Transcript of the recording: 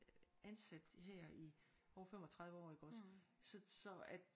Ansat her i over 35 år iggås så så at